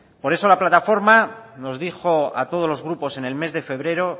por eso la plataforma nos dijo a todos los grupos en el mes de febrero